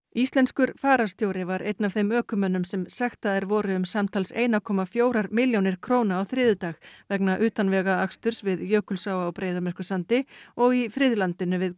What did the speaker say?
íslenskur fararstjóri var einn af þeim ökumönnum sem sektaðir voru um samtals einum komma fjórar milljónir króna á þriðjudag vegna utanvegaaksturs við Jökulsá á Breiðamerkursandi og í friðlandinu við